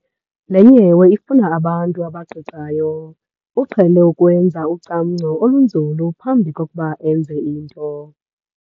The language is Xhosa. Le nyewe ifuna abantu abaqiqayo. uqhele ukwenza ucamngco olunzulu phambi kokuba enze into